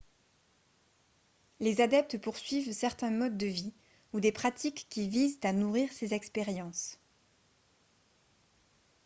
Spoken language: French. les adeptes poursuivent certains modes de vie ou des pratiques qui visent à nourrir ces expériences